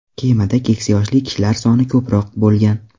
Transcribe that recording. Kemada keksa yoshli kishilar soni ko‘proq bo‘lgan.